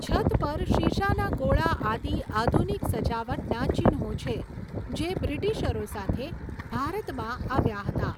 છત પર શીશાના ગોળા આદિ આધુનિક સજાવટના ચિહ્નો છે, જે બ્રિટીશરો સાથે ભારતમાં આવ્યાં હતાં.